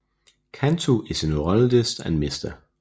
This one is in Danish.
Cantu is a neurologist and Mr